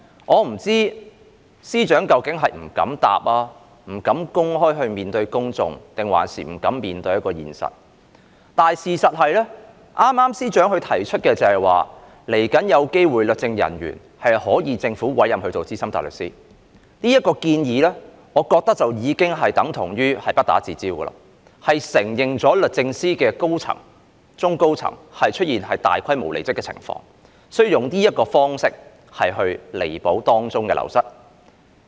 我不知道司長是不敢回答、不敢公開面對公眾抑或不敢面對現實，但事實上，司長剛才提到律政人員日後有機會獲政府委任為資深大律師，我認為這項建議等同不打自招，承認律政司的中高層出現大規模離職的情況，所以要用這種方式彌補流失的人手。